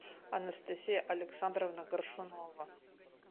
анастасия александровна горшунова